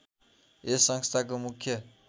यस संस्थाको मुख्य